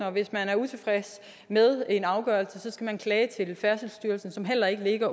og hvis man er utilfreds med en afgørelse skal man klage til færdselsstyrelsen som heller ikke